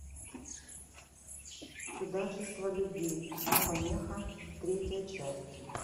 чудачество любви не помеха третья часть